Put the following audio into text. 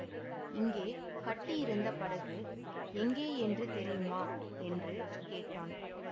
இங்கே கட்டியிருந்த படகு எங்கேயென்று தெரியுமா என்று கேட்டான்